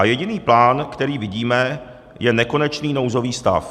A jediný plán, který vidíme, je nekonečný nouzový stav.